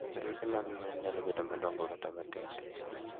Farese mag gwen nyalo bedo madongo kata matindo.